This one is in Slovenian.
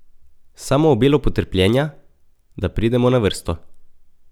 Samo obilo potrpljenja, da pridemo na vrsto.